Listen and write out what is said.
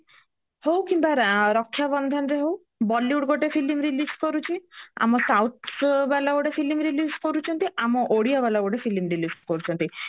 ରାଜାରେ ହଉ କିମ୍ବା ରକ୍ଷ୍ୟା ବନ୍ଧନରେ ହୋଉ bollywood ଗୋଟେ film release କରୁ ଚି ଆମ south ବାଲା ଗୋଟେ film release କରୁଚନ୍ତି ଆମ ଓଡିଆ ବାଲା ଗୋଟେ film release କରୁଚନ୍ତି